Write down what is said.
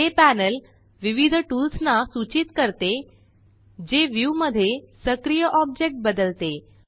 हे पॅनल विविध टूल्स ना सूचीत करते जे व्यू मध्ये सक्रिय ऑब्जेक्ट बदलते